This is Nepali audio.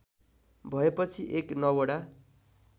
भएपछि एक नवोढा